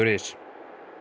is